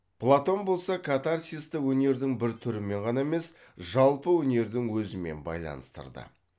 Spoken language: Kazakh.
платон болса катарсисті өнердің бір түрімен ғана емес жалпы өнердің өзімен байланыстырды